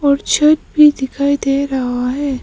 और छत भी दिखाई दे रहा है।